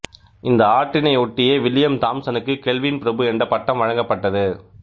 இந்த ஆற்றினை ஒட்டியே வில்லியம் தாம்சனுக்கு கெல்வின் பிரபு என்ற பட்டம் வழங்கப்பட்டது